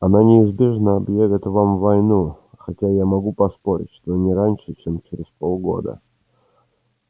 они неизбежно объявят нам войну хотя я могу поспорить что не раньше чем через полгода